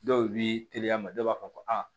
Dɔw bi teliya dɔw b'a fɔ ko aa